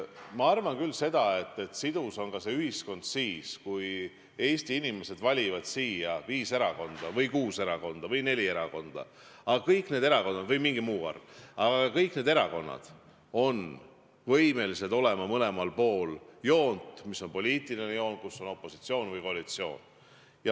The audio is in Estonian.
Ma arvan küll seda, et sidus on ühiskond ka siis, kui Eesti inimesed valivad siia viis või kuus või neli erakonda , aga kõik need erakonnad on võimelised olema mõlemal pool seda joont, mis on poliitiline joon, mis näitab, kus on opositsioon või koalitsioon.